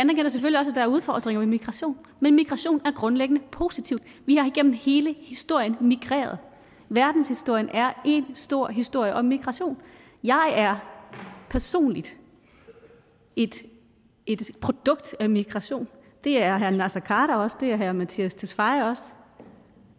der er udfordringer med migration men migration er grundlæggende positivt vi har igennem hele historien migreret verdenshistorien er en stor historie om migration jeg er personligt et produkt af migration det er herre naser khader også det er herre mattias tesfaye også